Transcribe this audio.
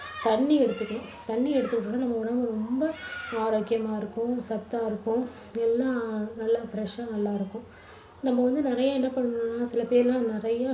தண்ணி எடுத்துக்கணும். தண்ணி எடுத்துகிட்டோம்னா நம்ம உடம்பு ரொம்ப ஆரோக்கியமா இருக்கும் சத்தா இருக்க்கும் எல்லாம் நல்லா fresh ஆ வந்து நல்லா இருக்கும். நம்ம வந்து நிறைய என்ன பண்றோம்னா சில பேர் எல்லாம் நிறைய